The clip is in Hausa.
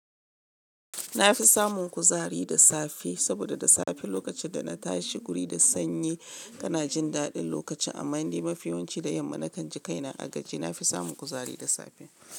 Na fi samun kuzari da safe, saboda da safe lokacin da na tashi guri da sanyi, kana jin daɗin lokaci amman ni mafi yawanci da yamma na kan ji kaina a gaje. Na fi samun kuzari da safe.